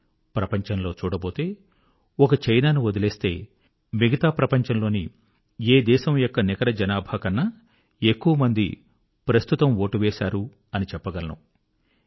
కానీ ప్రపంచంలో చూడబోతే ఒక చైనా ను వదిలేస్తే మిగతా ప్రపంచంలోని ఏ దేశం యొక్క నికర జనాభా కన్నా ఎక్కువ మంది ప్రస్తుతం వోటు వేశారు అని చెప్పగలను